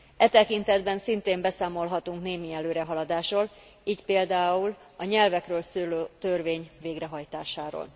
E tekintetben szintén beszámolhatunk némi előrehaladásról, így például a nyelvekről szóló törvény végrehajtásáról.